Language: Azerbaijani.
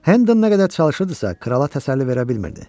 Hendon nə qədər çalışırdısa, krala təsəlli verə bilmirdi.